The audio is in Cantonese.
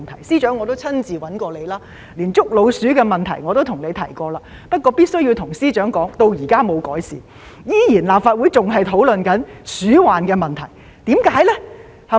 司長，我也曾經親自找你，連捉老鼠的問題也向你提及；不過，我必須跟司長說，問題至今還沒有改善，立法會仍在討論鼠患的問題。